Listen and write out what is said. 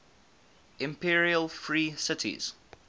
imperial free cities